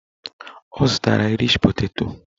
Ọ zụtara aịrish peteto